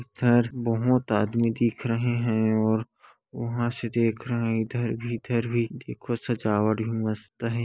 इधर बहुत आदमी दिख रहे हैं और वहाँ से देख रहा हैं इधर भी इधर भी देखो सजावट भी मस्त हैं।